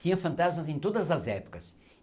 Tinham fantasmas em todas as épocas.